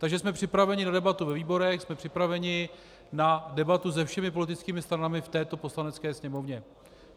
Takže jsme připraveni na debatu ve výborech, jsme připraveni na debatu se všemi politickými stranami v této Poslanecké sněmovně.